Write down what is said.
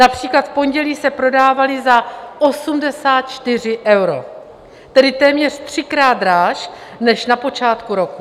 Například v pondělí se prodávaly za 84 euro, tedy téměř třikrát dráž než na počátku roku.